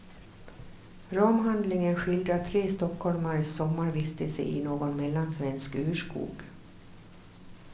Ramhandlingen skildrar tre stockholmares sommarvistelse i någon mellansvensk urskog.